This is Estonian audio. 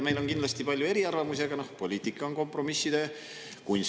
Meil on kindlasti palju eriarvamusi, aga poliitika on kompromisside kunst.